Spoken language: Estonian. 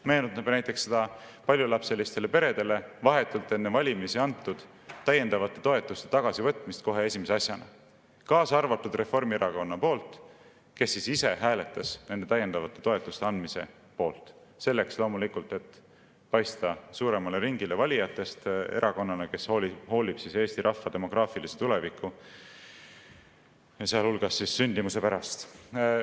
Meenutame näiteks paljulapselistele peredele vahetult enne valimisi antud täiendavate toetuste tagasivõtmist kohe esimese asjana, kuigi Reformierakond ise oli hääletanud nende täiendavate toetuste andmise poolt – loomulikult selleks, et paista suuremale ringile valijatest erakonnana, kes hoolib Eesti rahva demograafilisest tulevikust, sealhulgas sündimusest.